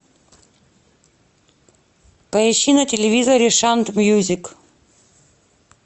поищи на телевизоре шант мьюзик